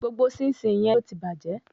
Gbogbo síńsiǹ yẹn ló tí bàjẹ́.